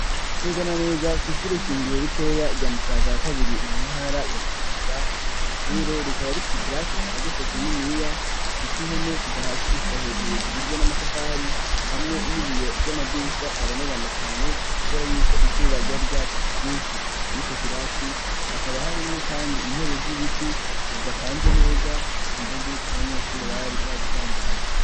Neza na neza kwishure shingiro ritoya rya Musaga ya kabiri mu ntara ya Bujumbura iryo shure rikaba rifise ikirasi cagutse kininiya gifise impome kuva hasi gushika hejuru zigizwe n'amatafari hamwe n'ibiyo vy'amadirisha abonerana cane kubera yuko izuba ryari ryatse kubwinshi mwico kirasi hakaba harimwo kandi intebe z'ibiti zidapanze neza kumva z'uko abanyeshuri bari babisanzaje.